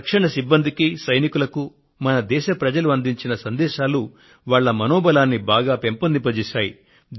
రక్షణ సిబ్బందికి సైనికులకు మన దేశ ప్రజలు అందించిన సందేశాలు వారిలో మనోబలాన్ని బాగా పెంపొందింపజేశాయి